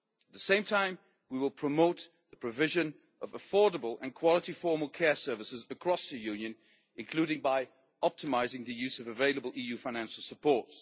At the same time, we will promote the provision of affordable and quality formal care services across the Union, including by optimising the use of available EU financial support.